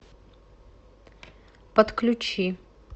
подключи